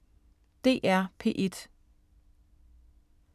DR P1